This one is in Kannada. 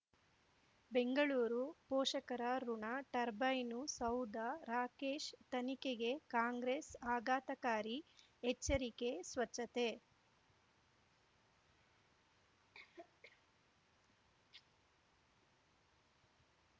ಬೆಂಗಳೂರು ಪೋಷಕರಋಣ ಟರ್ಬೈನು ಸೌಧ ರಾಕೇಶ್ ತನಿಖೆಗೆ ಕಾಂಗ್ರೆಸ್ ಆಘಾತಕಾರಿ ಎಚ್ಚರಿಕೆ ಸ್ವಚ್ಛತೆ